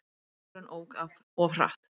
Helmingurinn ók of hratt